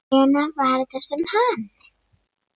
Hvenær var þetta sem hann.